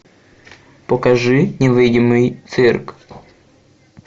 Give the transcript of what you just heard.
покажи невидимый цирк